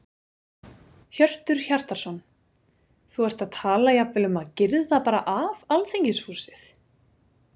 Hjörtur Hjartarson: Þú ert að tala jafnvel um að girða bara af Alþingishúsið?